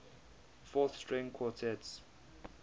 fourth string quartets